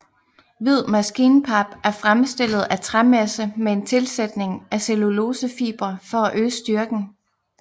Hvid maskinpap er fremstillet af træmasse med en tilsætning af cellulosefibre for at øge styrken